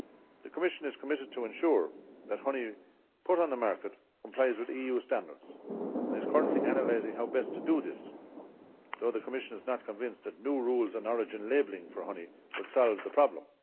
The Commission is committed to ensuring that honey put on the market complies with EU standards and it is currently analysing how best to do this, although the Commission is not convinced that new rules on origin labelling for honey could solve the problem.